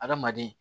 Adamaden